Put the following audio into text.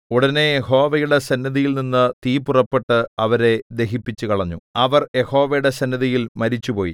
ഉടനെ യഹോവയുടെ സന്നിധിയിൽനിന്ന് തീ പുറപ്പെട്ട് അവരെ ദഹിപ്പിച്ചുകളഞ്ഞു അവർ യഹോവയുടെ സന്നിധിയിൽ മരിച്ചുപോയി